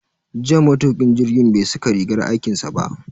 Jiya matukin jirgin bai saka rigar aikinsa ba.